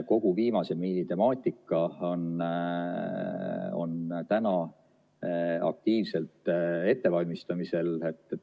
Kogu viimase miili temaatika on täna aktiivselt ettevalmistamisel.